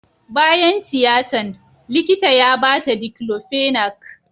Bayan tiyatan, likita ya ba ta diclofenac.